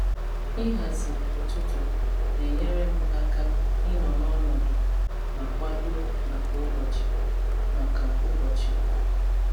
Ịhazi ụtụtụ na-enyere m aka ịnọ n’ọnọdụ ma kwado maka ụbọchị. maka ụbọchị.